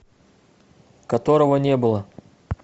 которого не было